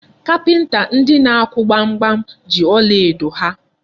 Kapịnta ndị na-akụ gbamgbam ji ọlaedo ha.